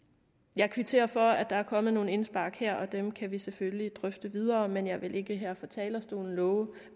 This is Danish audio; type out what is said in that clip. jeg kvitterer for at der er kommet nogle indspark her og dem kan vi selvfølgelig drøfte videre men jeg vil ikke her fra talerstolen love